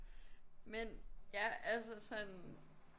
Men ja altså sådan